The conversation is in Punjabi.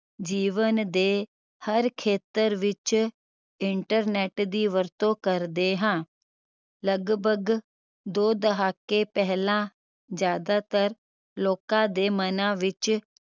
ਜੀਵਨ ਦੇ ਹਰ ਖੇਤਰ ਵਿਚ internet ਦੀ ਵਰਤੋਂ ਕਰਦੇ ਹਾਂ ਲਗਭਗ ਦੋ ਦਹਾਕੇ ਪਹਿਲਾ ਜਿਆਦਾਤਰ ਲੋਕ ਦੇ ਮਨਾ ਵਿਚ